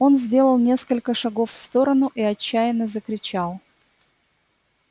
он сделал несколько шагов в сторону и отчаянно закричал